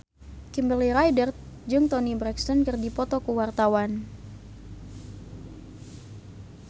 Kimberly Ryder jeung Toni Brexton keur dipoto ku wartawan